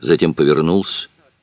затем повернулся